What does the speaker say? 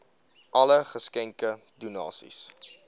alle geskenke donasies